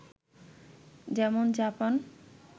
যেমন জাপান